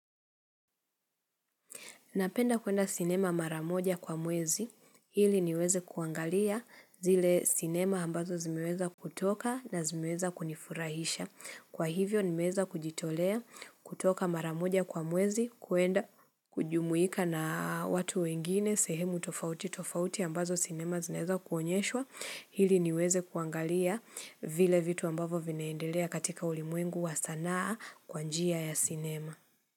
Napenda kuenda sinema maramoja kwa mwezi ili niweze kuangalia zile sinema ambazo zimeweza kutoka na zimeweza kunifurahisha. Kwa hivyo nimeweza kujitolea kutoka maramoja kwa mwezi kuenda kujumuika na watu wengine sehemu tofauti tofauti ambazo sinema zinaweza kuonyeshwa ili niweze kuangalia vile vitu ambavo vinaendelea katika ulimuengu wa sanaa kwa njia ya sinema.